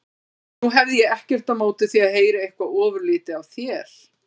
Nú hefði ég ekkert á móti því að heyra eitthvað ofurlítið af þér.